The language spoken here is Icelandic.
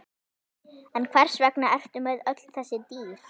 En hvers vegna ertu með öll þessi dýr?